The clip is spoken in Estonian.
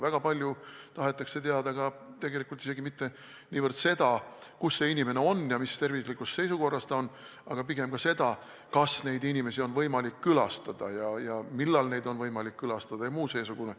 Väga palju tahetakse teada isegi mitte niivõrd seda, kus inimene on ja mis tervislikus seisukorras ta on, vaid pigem seda, kas inimest on võimalik külastada, millal on võimalik külastada jms.